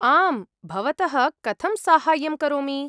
आम्। भवतः कथं साहाय्यं करोमि?